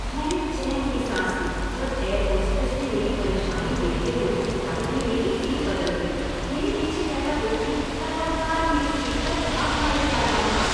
मैंने चैन की साँस ली जब एयर होस्टेस ने मेरी परेशानी देखते हुए फ़्लाइट में मेरी सीट बदल दी, मेरे पीछे बैठा व्यक्ति लगातार मेरी सीट पर लात मारे जा रहा था।